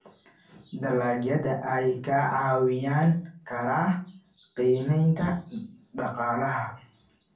dalagyada ayaa kaa caawin kara qiimeynta Dhaqaalaha.